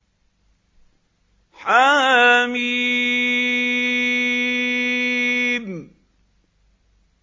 حم